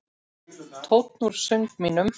Tónn úr söng mínum.